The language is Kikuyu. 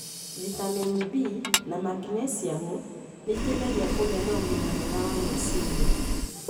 vitamini B, na magnesium nĩ iteithagia kũgĩa na ũgima mwega wa meciria.